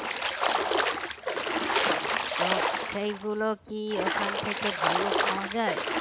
তো সেগুলো কি ওখান থেকে ভালো পাওয়া যায়?